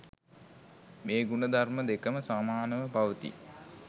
මේ ගුණ ධර්ම දෙකම සමානව පවතී.